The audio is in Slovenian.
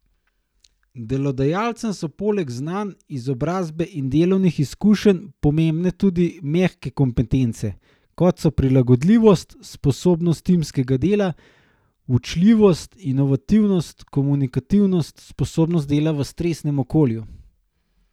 Delodajalcem so poleg znanj, izobrazbe in delovnih izkušenj pomembne tudi mehke kompetence, kot so prilagodljivost, sposobnost timskega dela, učljivost, inovativnost, komunikativnost, sposobnost dela v stresnem okolju ...